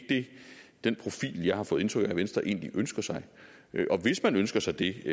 den profil jeg har fået indtryk af at venstre egentlig ønsker sig og hvis man ønsker sig det